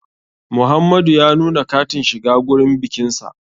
Muhamadu ya nuna katin shiga gurin bikinsa.